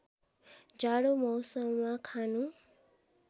जाडो मौसममा खानु